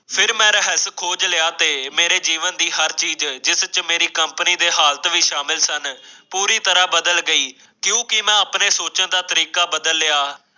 ਫਿਰ ਮੈਂ ਰਹੱਸ ਖੋਲ ਲਿਆ ਤੇ ਮੇਰੇ ਜੀਵਨ ਦੀ ਹਰ ਚੀਜ਼ ਜਿਸ ਵਿਚ ਮੇਰੀ ਕੰਪਨੀ ਦੇ ਹਾਲਤ ਵੀ ਸ਼ਾਮਲ ਸਨ ਪੂਰੀ ਤਰ੍ਹਾਂ ਬਦਲ ਗਈ ਕਿਉਂਕਿ ਆਪਣੇ ਸੋਚਣ ਦਾ ਤਰੀਕਾ ਬਦਲ ਲਿਆ